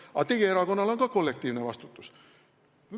Aga teie erakonnal on ka kollektiivne vastutus.